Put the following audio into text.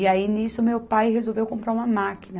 E aí, nisso, meu pai resolveu comprar uma máquina.